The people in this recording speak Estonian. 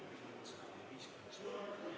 Austatud Riigikogu!